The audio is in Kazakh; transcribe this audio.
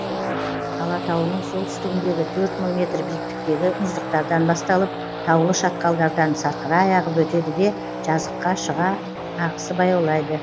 алатауының солтүстігіндегі төрт мың метр биіктіктегі мұздықтардан басталып таулы шатқалдардан сарқырай ағып өтеді де жазыққа шыға ағысы баяулайды